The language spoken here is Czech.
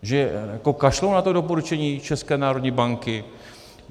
Že kašlou na to doporučení České národní banky?